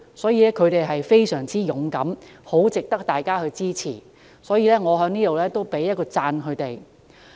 所以，她們確實非常勇敢，很值得大家支持，我要在此給她們一個讚。